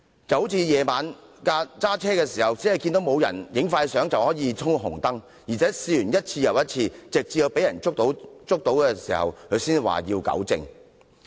這種心態猶如在深夜駕車，以為沒有"影快相"便衝紅燈，而且一次又一次，直至被人逮個正着才說要糾正。